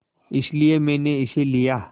इसलिए मैंने इसे लिया